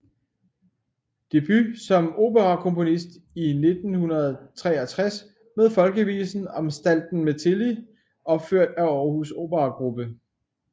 Debut som operakomponist i 1963 med Folkevisen om Stalten Mettelil opført af Århus Operagruppe